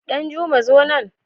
Danjuma zo nan!